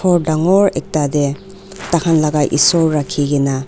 khor dangor ekta te dakhan la ishor rakhikena.